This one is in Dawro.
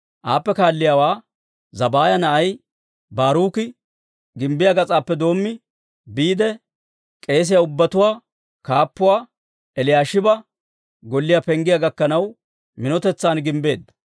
Aappe kaalliyaawaa Zabbaaya na'ay Baaruki gimbbiyaa gas'aappe doommi, biide k'eesiyaa ubbatuwaa kaappuwaa Eliyaashiba golliyaa penggiyaa gakkanaw, minotetsan gimbbeedda.